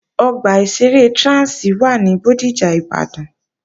Ọgbà ìṣeré Trans wà ní Bódìjà, Ìbàdàn